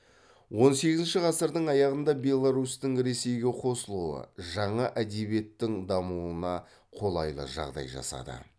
он сегізінші ғасырдың аяғында беларусьтің ресейге қосылуы жаңа әдебиеттің дамуына қолайлы жағдай жасады